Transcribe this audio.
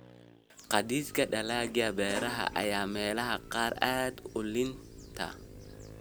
Gaadiidka dalagyada beeraha ayaa meelaha qaar aad u liita.